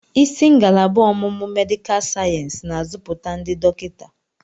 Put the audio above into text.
Isi ngalaba ọmụmụ medịkal sayensị na-azụpụta ndị dọkịta.